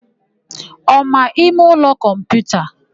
Ọ ma ịmeụlọ kọmputa?